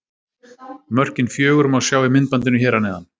Mörkin fjögur má sjá í myndbandinu hér að neðan.